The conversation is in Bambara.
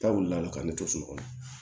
Taa wuli la ka ne to so kɔnɔ